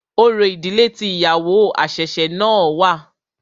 Orò ìdílé tí ìyàwó àṣẹ̀ṣẹ̀ náà wà.